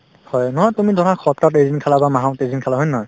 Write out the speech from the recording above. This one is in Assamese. হয়, নহয় তুমি ধৰা সপ্তাহত এদিন খালা বা মাহত এদিন খালা হয় নে নহয়